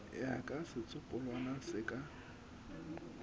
ya ka setsopolwana se ka